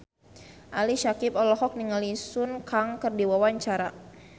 Ali Syakieb olohok ningali Sun Kang keur diwawancara